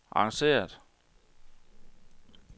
arrangeret